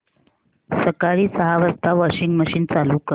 सकाळी सहा वाजता वॉशिंग मशीन चालू कर